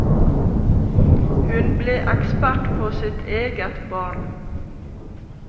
Hun ble ekspert på sitt eget barn.